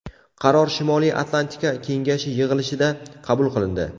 Qaror Shimoliy Atlantika kengashi yig‘ilishida qabul qilindi.